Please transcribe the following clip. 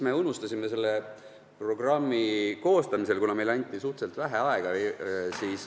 Me unustasime selle programmi koostamisel ühe asja ära, kuna meile anti suhteliselt vähe aega.